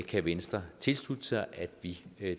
kan venstre tilslutte sig at vi